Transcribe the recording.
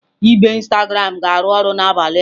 Ibe Instagram ga-arụ ọrụ n'abalị a.